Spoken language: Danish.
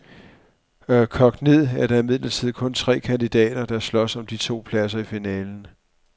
Kogt ned er der imidlertid kun tre kandidater, der slås om de to pladser i finalen.